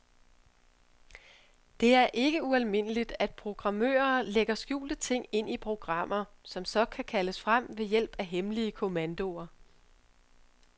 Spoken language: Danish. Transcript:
Det er ikke ualmindeligt, at programmører lægger skjulte ting ind i programmer, som så kan kaldes frem ved hjælp af hemmelige kommandoer.